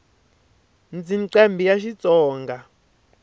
ndzi nqambhi ya xitsonga